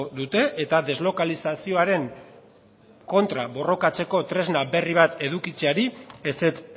dute eta deslokalizazioaren kontra borrokatzeko tresna berri bat edukitzeari ezetz